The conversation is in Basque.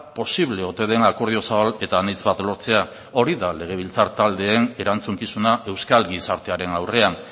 posible ote den akordio zabal eta anitz bat lortzea hori da legebiltzar taldeen erantzukizuna euskal gizartearen aurrean